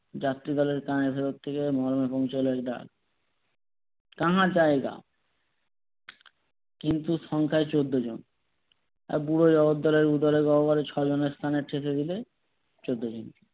যাত্রীদলের কাঁহা জায়গা? কিন্তু সংখ্যায় চোদ্দ জন আর বুড়ো জগদ্দলের উদরের গহ্বরে ছজনের স্থান বলে চোদ্দ জন